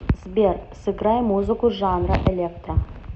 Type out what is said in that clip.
сбер сыграй музыку жанра электро